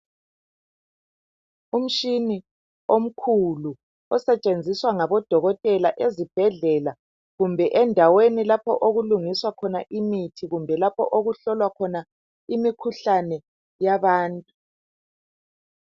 umutshina omkhulu osetshenziswa ngobodokotele ezibhedlela kumbe endaweni lapho okulungiswa khona imithi kumbe lapho okuhlolwa khona imikhuhlane yabantu